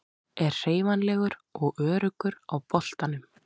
Er hreyfanlegur og öruggur á boltanum.